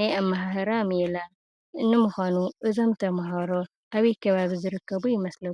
ናይ ኣማሃህራ ሜላ፣ ንምኳኑ እዞሞ ተማሃሮ ኣበይ ከባቢ ዝርከቡ ይመስሉ?